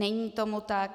Není tomu tak.